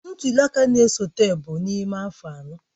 Ntuli aka na-esote bụ n'ime afọ anọ.